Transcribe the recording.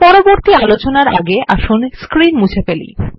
পরবর্তী আলোচনার আগে আসুন স্ক্রীন মুছে ফেলি